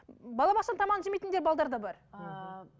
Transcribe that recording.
балабақшаның тамағын жемейтін де да бар ааа